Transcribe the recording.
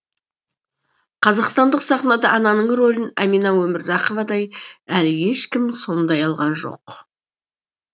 қазақстандық сахнада ананың ролін әмина өмірзақовадай әлі ешкім сомдай алған жоқ